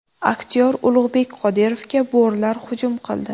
Aktyor Ulug‘bek Qodirovga bo‘rilar hujum qildi.